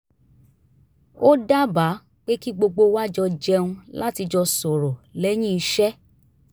ó dábàá pé kí gbogbo wa jọ jẹun láti jọ sọ̀rọ̀ lẹ́yìn iṣẹ́